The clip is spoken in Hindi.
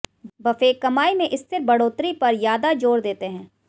बफे कमाई में स्थिर बढ़ोतरी पर यादा जोर देते हैं